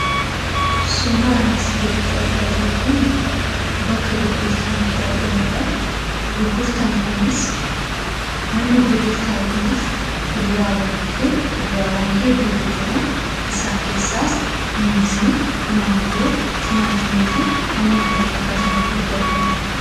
Suuraan asii gaditti argaa jirru kun bakka gurgurtaan itti argamudha. Manni gurgurtaa kunis fuduraawwanii fi kuduraawwan hedduutu jiru. Isaan keessaas muuzii, maangoo, timaatimii fi kanneen kana fakkaatan hedduutu argama.